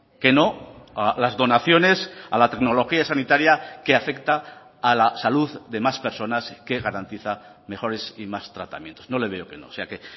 que no a las donaciones a la tecnología sanitaria que afecta a la salud de más personas que garantiza mejores y más tratamientos no le veo que no o sea que